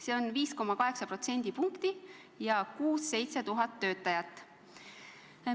See on 5,8% võrra enam ehk 6000–7000 töötajat juurde.